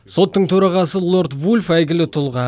соттың төрағасы лорд вульф әйгілі тұлға